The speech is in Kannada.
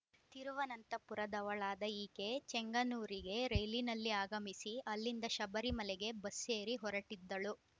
ತಿರುವನಂತಪುರದವಳಾದ ಈಕೆ ಚೆಂಗನ್ನೂರಿಗೆ ರೈಲಿನಲ್ಲಿ ಆಗಮಿಸಿ ಅಲ್ಲಿಂದ ಶಬರಿಮಲೆಗೆ ಬಸ್ಸೇರಿ ಹೊರಟಿದ್ದಳು